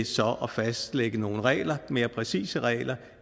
så at fastlægge nogle regler mere præcise regler